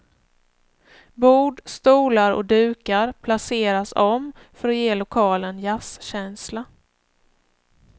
Bord, stolar och dukar placeras om för att ge lokalen jazzkänsla.